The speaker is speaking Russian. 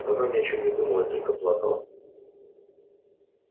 но она ни о чем не думала и только плакала